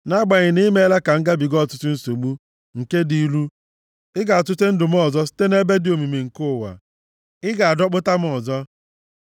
Nʼagbanyeghị na i meela ka m gabiga ọtụtụ nsogbu nke dị ilu, ị ga-atụte ndụ m ọzọ; site nʼebe dị omimi nke ụwa, ị ga-adọkpụpụta m ọzọ.